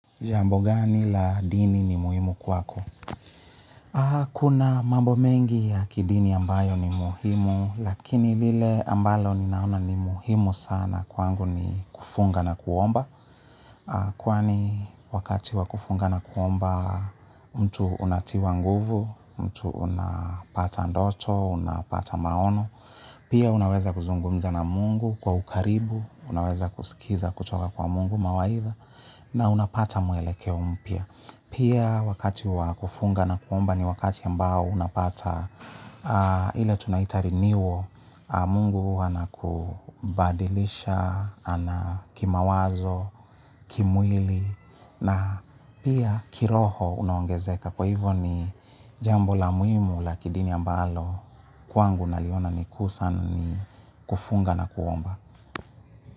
Jambu gani la dini ni muhimu kwako? Kuna mambo mengi ya kidini ambayo ni muhimu, lakini lile ambalo ninaona ni muhimu sana kwangu ni kufunga na kuomba. Kwani wakati wa kufunga na kuomba, mtu unatiwa nguvu, mtu unapata ndoto, unapata maono. Pia unaweza kuzungumza na Mungu kwa ukaribu, unaweza kusikiliza kutoka kwa Mungu mawaidha na unapata mwelekeo mpya. Pia wakati wa kufunga na kuomba ni wakati ambao unapata ile tunaitari renewal. Mungu anakubadilisha, ana kimawazo, kimwili na pia kiroho unaongezeka. Kwa hivyo ni jambo la muimu la kidini ambalo kwangu naliona ni kuu sana ni kufunga na kuomba.